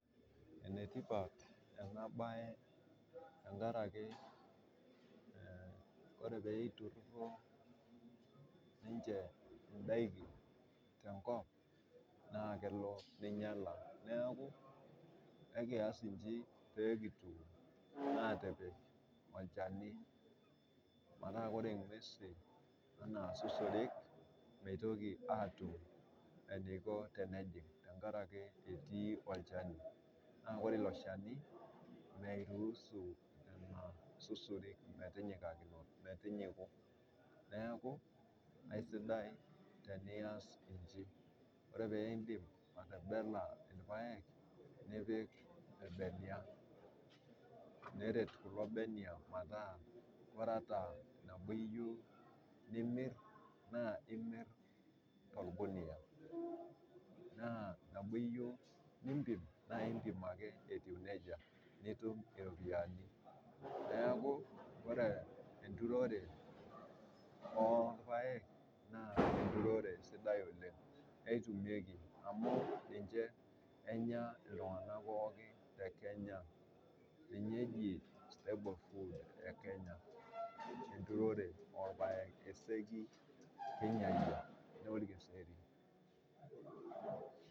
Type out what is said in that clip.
Enetipat ena baye tengaraki ore peitururo ninche indaki te nkop naa kelo neinyala, naaku ekiyas inji pekitum aatpik olchani metaa inguesi ana suserik meitoki aatum eneiko tenejing' tengaraki etii olchani, naaku ore ilo cheni meiruhusu nena susurik metinyiku, neaku esidai teniyas inji, ore piindip atebela ilpaek nipik ilbenia neret kulo benia metaa kore ata teniyeu nimir naa imir to lgunia, naa tanaa iyeu niimpim naa impim ake etiu neja, nitum iropiyiani naaku ore enturore oo ilpaek naa enturore sidai oleng, netumieki amu ninche enya ltungana pooki te kenya. Ninye eji staple food e kenya, enturore olpaek, oseki kinyaiye naa olkiseri.